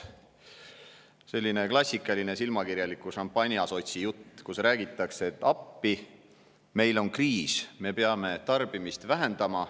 Selline klassikaline silmakirjaliku šampanjasotsi jutt, kus räägitakse, et appi, meil on kriis, me peame tarbimist vähendama.